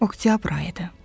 Oktyabr ayı idi.